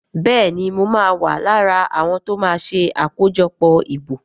Béèni mọ ma wá lára àwọn tíó ma ṣe akojọpọ ìbò.